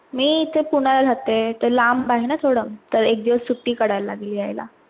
मी इथे पुण्याला राहते, ते लांब आहे ना थोडं तर एक दिवस सुट्टी काढायला लागेल यायला.